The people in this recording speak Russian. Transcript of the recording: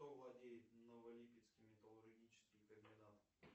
кто владеет новолипецким металлургическим комбинатом